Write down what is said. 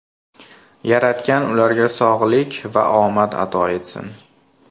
Yaratgan ularga sog‘lik va omad ato etsin.